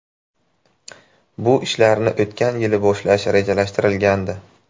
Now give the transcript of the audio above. Bu ishlarni o‘tgan yili boshlash rejalashtirilgandi.